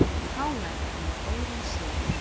KR með góðan sigur